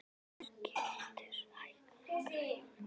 Skjöldur, hækkaðu í græjunum.